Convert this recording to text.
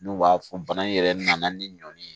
N'u b'a fɔ bana in yɛrɛ nana ni ɲɔ ni ye